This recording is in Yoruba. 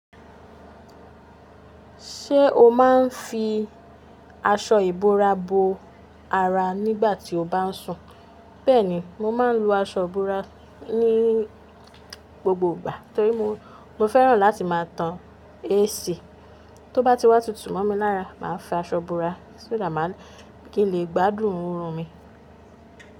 Ṣé o máa ń fi aṣọ ìbora bo ara nígbà tí o bá ń sùn? Bẹ́ẹ̀ni, mo máa ń lo aṣọ ìbora ní gbogbo ìgbà torí mo, mo fẹ́ràn láti máa tan AC. Tó bá ti wá tutù mọ́ mi lára, màá fi aṣọ ìbora kí n lè gbádùn orun mi.